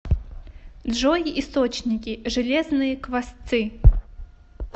джой источники железные квасцы